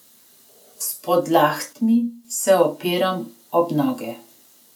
S podlahtmi se opiram ob noge.